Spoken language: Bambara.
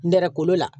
Nɛrɛ kolo la